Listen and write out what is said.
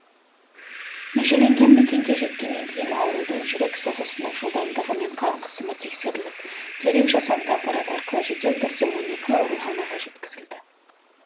межеленген мекенге жеткеннен кейін аурудың жүрек соғысының жылдамдығы мен қан қысымы тексеріліп дереу жасанды аппарат арқылы жедел түрде он екі ауруханаға жеткізілді